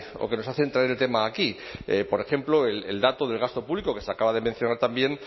o que nos hacen traer el tema aquí por ejemplo el dato del gasto público que se acaba de mencionar también